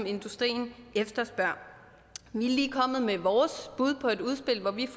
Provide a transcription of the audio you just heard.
industrien efterspørger vi er lige kommet med vores bud på et udspil hvor vi